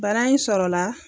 Bara in sɔrɔ la